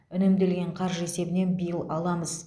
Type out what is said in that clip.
үнемделген қаржы есебінен биыл аламыз